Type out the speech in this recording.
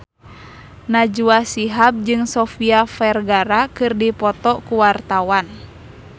Najwa Shihab jeung Sofia Vergara keur dipoto ku wartawan